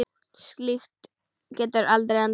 Slíkt getur aldrei endað vel.